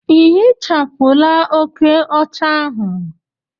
Ị ehichapụla oke ọcha ahu?